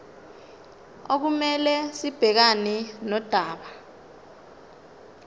okumele sibhekane nodaba